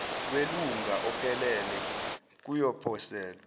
welunga ophelele kuyoposelwa